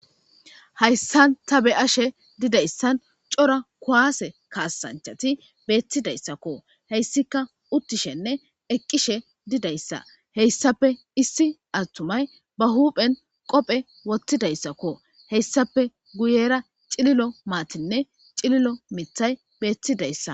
Hayssan ta be ashe didayssan cora kuwaase kaasanchati beettidayssakko heyssika uttishenne eqqishe didayssa heyssape issi attumay ba huphen qophe wottidayssakko heyssape guyera cililo maatinne cililo mithay beettidayssa